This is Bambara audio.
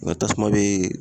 Nga tasuma be